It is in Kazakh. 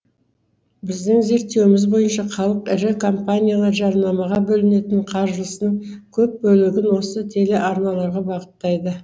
біздің зерттеуіміз бойынша халық ірі компаниялар жарнамаға бөлінетін қаржысын көп бөлігін осы телеарналарға бағыттайды